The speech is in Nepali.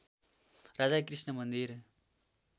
राधाकृष्ण मन्दिर